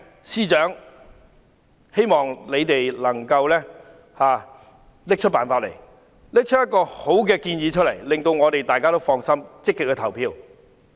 司長，我希望你能夠拿出辦法，提出一個好建議，令大家能夠放心，積極投票。